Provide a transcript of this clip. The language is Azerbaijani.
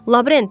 Lavrenti!